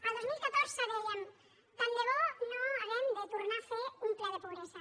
el dos mil catorze dèiem tant de bo no hàgim de tornar a fer un ple de pobresa